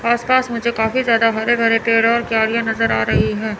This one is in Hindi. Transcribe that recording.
आसपास मुझे काफी ज्यादा हरे भरे पेड़ और नजर आ रही हैं।